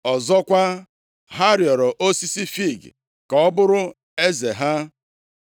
“Ọzọkwa, ha rịọrọ osisi fiig ka ọ bụrụ eze ha.